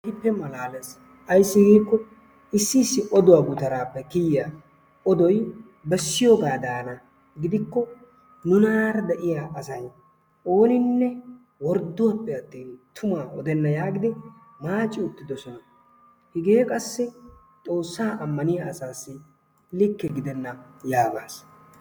keehippe malaalees, issi issi oduwaaa gutaraappe kiyiyaa odoy bessiyoogaadana gidikko nunaara de'iya asay ooninne worddoppe attin tumaa odenna yaagidi maaci uttidosona, hegee qassi xoosaa amaniya asassi like gidenna yaagaas.